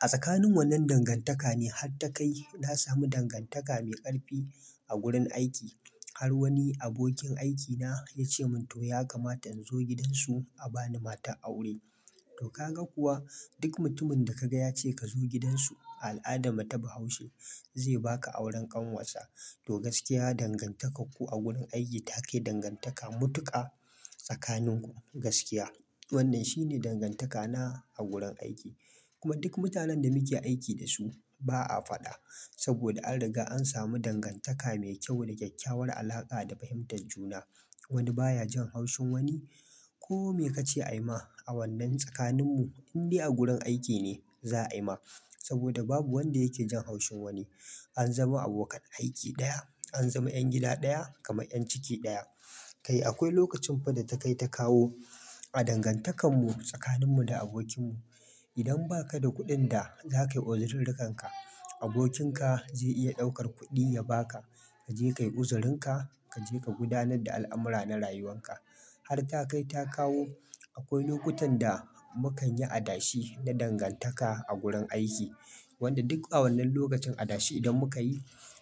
A tsakanin wannan dangantaka ne har ta kai na samu dangantaka mai ƙarfi a gurin aiki. Har wani abokin aikina ya ce mun to ya kamata in zo gidansu a bani matar aure. To ka ga kuwa, duk mutumin da ka ga ya ce ka zo gidansu, al'ada ma ta ba haushe. Zai baka auren ƙanwarsa. To gaskiya dangantakarku a gurin aiki take dangantaka mutuka tsakaninku. Gaskiya wannan shine dangantakana a gurin aiki. Kuma duk mutanen da muke aiki da su ba a faɗa. Saboda an riga an samu dangantaka mai kyau da kyakkyawar alaƙa da fahimtar juna. Wani baya jan haushin wani. Ko me kace a yi ma a wannan tsakaninmu, in dai a gurin aiki ne, za a yi ma. Saboda babu wanda yake jan haushin wani. An zama abokan aiki ɗaya. An zama 'yan gida ɗaya kamar 'yan ciki ɗaya. Kai akwai lokacin fa da ta kai ta kawo a dangantakanmu tsakaninmu da abokinmu. Idan ba ka da kuɗin da za ka yi uzurirrikanka, abokin ka zai iya ɗaukar kuɗi ya ba ka. Ka je ka yi uzirinka, ka je ka gudanar da al'amura na rayuwanka. Har ta kai ta kawo akwai lokutan da mu kan yi adashe na dangantaka a gurin aiki. Wanda duk a wannan lokacin adashe idan muka yi,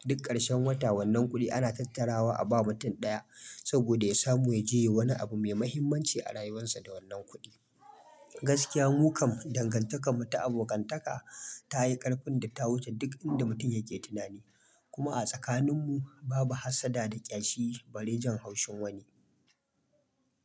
duk ƙarshen wata wannan kuɗi ana tattarawa a ba mutum ɗaya. Saboda ya samu ya je wani abu mai muhimmanci a rayuwarsa da wannan kuɗi. Gaskiya mu kam dangantaka mata'abokantaka ta yi ƙarfin da ta wuce duk inda mutum yake tunani. Kuma a tsakaninmu babu hassada da ƙyashi bari jan haushin wani.